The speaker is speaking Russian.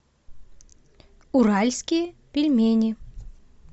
уральские пельмени